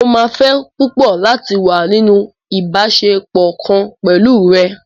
Mó máa fẹ́ púpọ̀ láti wá nínú ìbáṣepọ̀ kan pẹ̀lú rẹ.